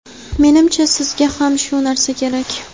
Menimcha, sizga ham shu narsa kerak.